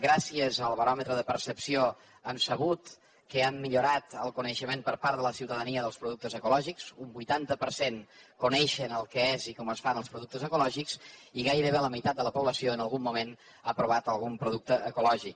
gràcies al baròmetre de percepció hem sabut que ha millorat el coneixement per part de la ciutadania dels productes ecològics un vuitanta per cent coneixen què és i com es fan els productes ecològics i gairebé la meitat de la població en algun moment ha provat algun producte ecològic